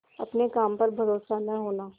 अपने काम पर भरोसा न होना